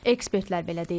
Ekspertlər belə deyir.